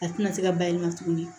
A tɛna se ka bayɛlɛma tuguni